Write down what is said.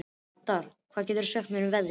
Haddur, hvað geturðu sagt mér um veðrið?